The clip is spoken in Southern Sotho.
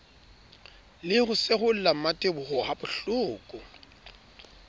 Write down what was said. le ho seholla mmateboho habohloko